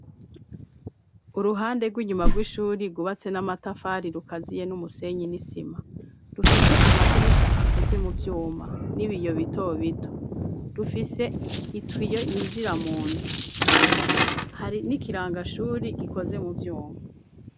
Uruhande rw'inyuma rw'ishuri rubatse n'amatafari rukaziye n'umusenyi n'isima rufise amadirisha akoze mu vyuma n'ibiyo bitobito rufise itwiyo yinjira mu nzu hari n'ikirangashuri gikoze mu vyuma.